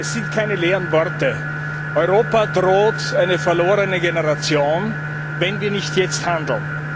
Es sind keine leeren Worte Europa droht eine verlorene Generation, wenn wir nicht jetzt handeln.